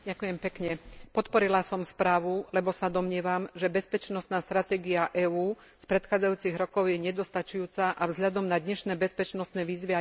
Podporila som správu, lebo sa domnievam, že bezpečnostná stratégia EÚ z predchádzajúcich rokov je nedostačujúca a vzhľadom na dnešné bezpečnostné výzvy aj prekonaná.